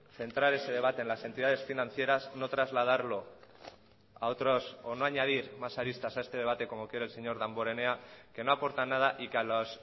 centrar ese debate en las entidades financieras no trasladarlo a otros o no añadir más aristas a este debate como quiere el señor damborenea que no aportan nada y que a los